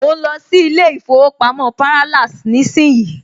Mo ń lọ sí ilé ìfowópamọ́ Parallax nísìnyí